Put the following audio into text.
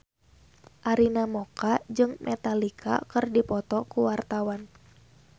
Arina Mocca jeung Metallica keur dipoto ku wartawan